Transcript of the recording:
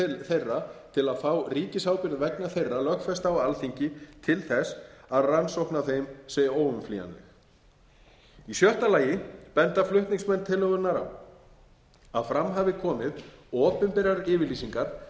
að fá ríkisábyrgð vegna þeirra lögfesta á alþingi til þess að rannsókn á þeim sé óumflýjanleg í sjötta lagi benda flutningsmenn tillögunnar á að fram hafa komið opinberar yfirlýsingar